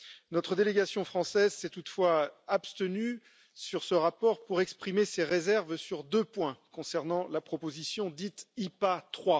Notre délégation française s'est toutefois abstenue sur ce rapport pour exprimer ses réserves sur deux points concernant la proposition dite IPA III.